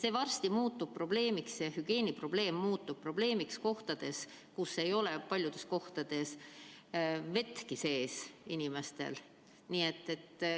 See hügieeniprobleem varsti muutub probleemiks, sest osal inimestel ei ole paljudes kohtades vettki majas sees.